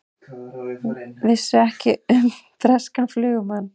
Vissu ekki um breskan flugumann